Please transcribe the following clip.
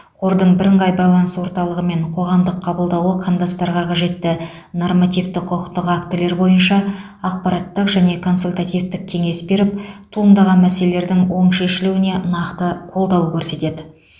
қордың бірыңғай байланыс орталығы мен қоғамдық қабылдауы қандастарға қажетті нормативті құқықтық актілер бойынша ақпараттық және консультативтік кеңес беріп туындаған мәселелердің оң шешілуіне нақты қолдау көрсетеді